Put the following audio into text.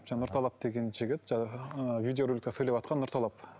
жаңа нұрталап деген жігіт ы видеороликте сөйлеватқан нұрталап